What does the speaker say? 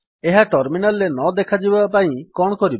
ଏହା ଟର୍ମିନାଲ୍ ରେ ନଦେଖାଯିବା ପାଇଁ କଣ କରିବା